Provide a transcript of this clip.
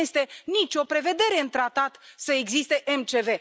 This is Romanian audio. Nu este nici o prevedere în tratat să existe MCV.